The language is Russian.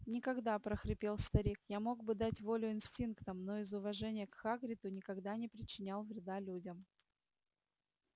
никогда прохрипел старик я мог бы дать волю инстинктам но из уважения к хагриду никогда не причинял вреда людям